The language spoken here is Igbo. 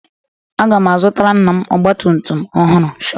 Aga m azụtara nna m ọgba tum tum ọhụrụ